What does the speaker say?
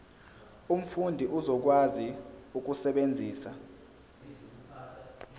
umfundi uzokwazi ukusebenzisa